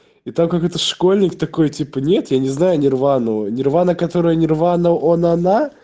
и так как это школьник такой типа нет я не знаю нирвну нирвана которая нирвана он она